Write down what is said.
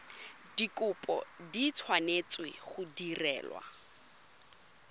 dikopo di tshwanetse go direlwa